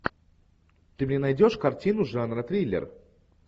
ты мне найдешь картину жанра триллер